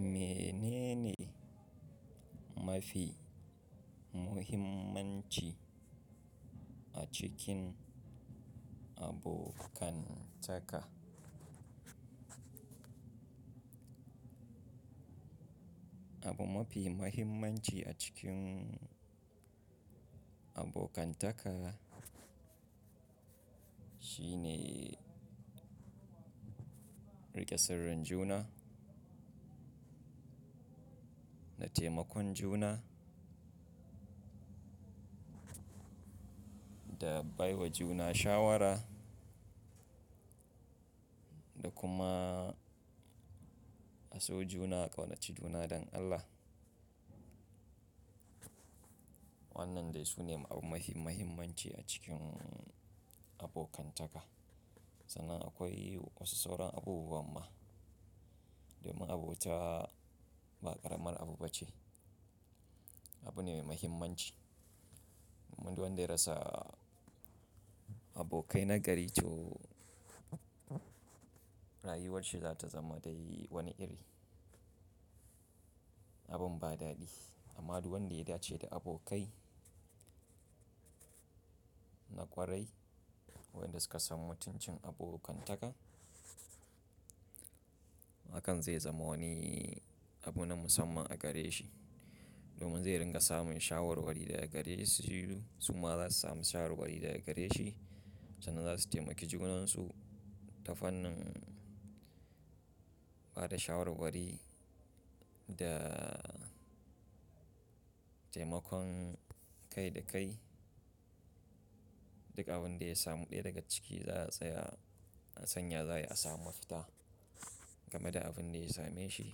Menene mafi muhimmanci a cikin abokantaka? Abin mafi muhimmanci a cikin abokantaka shine riƙe sirrin juna da taimakon juna da baiwa juna shawara da kuma a so juna a ƙaunaci juna don Allah. Wannan dai su ne abin mafi muhimmanci a cikin abokantaka. Sannan akwai wasu sauran abubuwa ma domin abota ba ƙaramar abu ba ce. Abu ne mai muhimmanci, muddin wanda ya rasa abokai na gari to rayuwar shi za ta zama da wani iri abin ba daɗi. Amma du wanda ya dace da abokai na ƙwarai, wanda suka samu mutuncin abokantaka, hakan zai zama wani abu na musamman a gare shi. Domin zai dinga samun shawarwari daga gare su, su ma za su samu shawarwari daga gare shi. Sannan za su taimaki junan su ta fannin ba da shawarwari da taimakon kai da kai. Duk abin da ya samu ɗaya daga ciki za a tsaya a san ya za a yi a samu fita game da abin da ya same shi.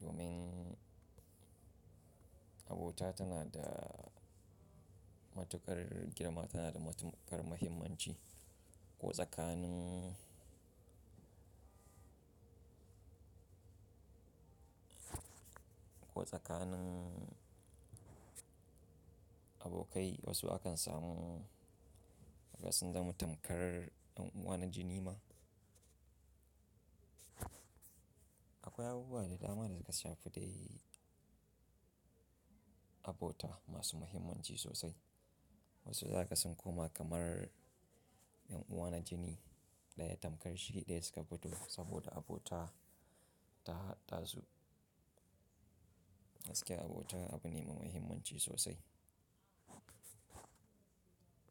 Domin abota tana da matuƙar girma, tana da matuƙar muhimmanci. Ko tsakanin, ko tsakanin abokai wasu akan samu gaskisan da mutum kar ƴan uwa na jini ma. Akwai abubuwa da dama da suka shafi dai abota masu muhimmanci sosai. Wasu za ka san koma kamar ƴan uwa na jini, daya tamkar shi ɗaya suka fito saboda abota ta haɗasu. Gaskiya abota abu ne mai muhimmaci sosai.